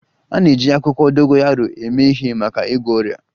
A na-eji akwụkwọ dogoyaro eme ihe maka ịgwọ ọrịa